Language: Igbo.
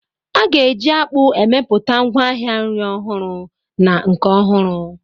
A ga-eji akpu emepụta ngwaahịa nri ọhụrụ na nke ọhụrụ.